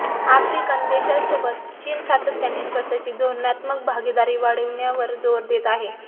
African देशांसोबत चीन सातत्याने स्वतःची धोरणात्मक भागीदारी वाढविण्यावर जोर देत आहे